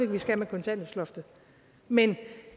vi skal af med kontanthjælpsloftet men